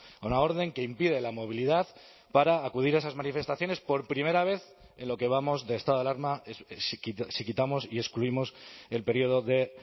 a una orden que impide la movilidad para acudir a esas manifestaciones por primera vez en lo que vamos de estado alarma si quitamos y excluimos el periodo de